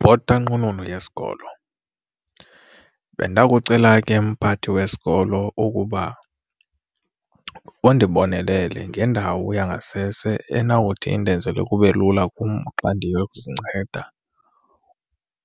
Bhota, nqununu yesikolo, bendakucela ke mphathi wesikolo ukuba undibonelele ngendawo yangasese enawuthi indenzele kube lula kum xa ndiyokuzinceda